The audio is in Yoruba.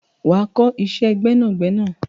Wà á kọ́ iṣẹ́ gbẹ́nàgbẹnà!